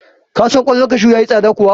Ka san ƙwallon kashu ya yi tsada kuwa?